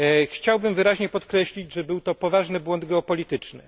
Chciałbym wyraźnie podkreślić, że był to poważny błąd geopolityczny.